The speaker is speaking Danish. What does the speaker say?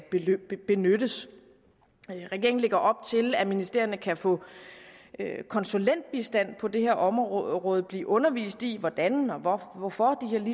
benyttes regeringen lægger op til at ministerierne kan få konsulentbistand på det her område område og blive undervist i hvordan og hvorfor hvorfor